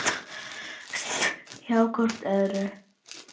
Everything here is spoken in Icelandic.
Hjá hvort öðru.